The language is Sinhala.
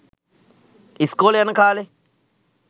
ඉස්කෝලෙ යන කාලෙ